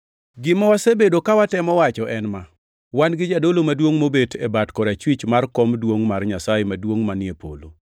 Gima wasebedo ka watemo wacho en ma: Wan gi Jadolo Maduongʼ mobet piny e bat korachwich mar Kom Duongʼ mar Nyasaye Maduongʼ manie polo,